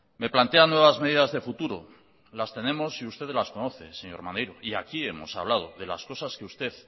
me plantea nuevas medidas de futuro las tenemos y usted las conoce señor maneiro y aquí hemos hablado de las cosas que usted